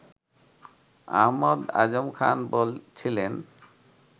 আহমদ আজম খান বলছিলেন